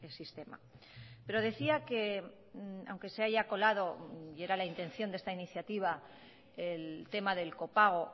sistema pero decía que aunque se haya colado y era la intención de esta iniciativa el tema del copago